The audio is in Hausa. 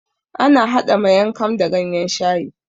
Ana hada Maing kam da ganyen shayi